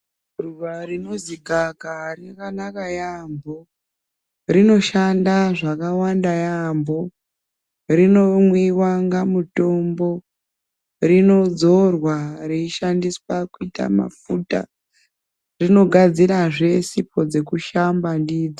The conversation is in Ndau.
Ruva rinozi gava kava rakanaka yambo rino shanda zvakawanda yambo rino mwiwa kunga mutombo rino dzorwa rei shandiswa kuita mafuta rino gadzira zve sipo dzeku shanda ndidzo.